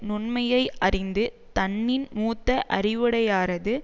நுண்மையை அறிந்து தன்னின் மூத்த அறிவுடையாரது